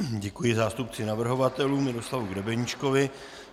Děkuji zástupci navrhovatelů Miroslavu Grebeníčkovi.